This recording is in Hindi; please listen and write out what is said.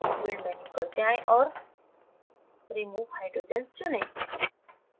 build menu पर जाएँ और remove hydrogens चुनें